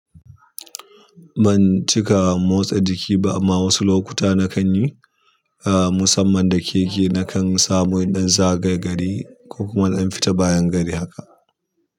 Ban cika motsa jiki ba, amma wasu lokuta na kan yi, ah, musamman da keke na kan samu inɗan zagayagari ko kuma naɗan fita bayan gari haka.